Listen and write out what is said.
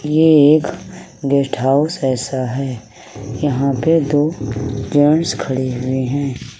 ये एक guest house जैसा है यहाँ पे दो जेंट्स खड़े हुए हैं।